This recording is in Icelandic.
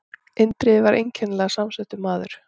Indriði var einkennilega samsettur maður.